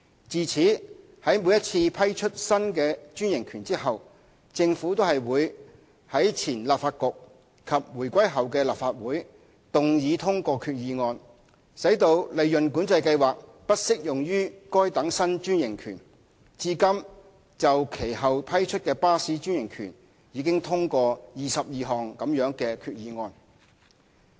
自此，在每次批出新的專營權後，政府均會在前立法局及回歸後的立法會動議通過決議案，使利潤管制計劃不適用於該等新專營權，至今就其後批出的巴士專營權已通過22項這類決議案。